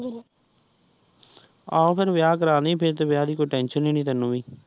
ਆਹੋ ਫੇਰ ਵਿਆਹ ਕਰਾਂ ਲਈ ਫੇਰ ਤੇ ਵਿਆਹ ਦੀ ਕੋਈ ਟੈੱਨਸ਼ਨ ਨੀ ਤੈਨੂੰ ਵੀ।